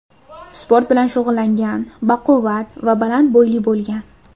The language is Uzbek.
Sport bilan shug‘ullangan, baquvvat va baland bo‘yli bo‘lgan.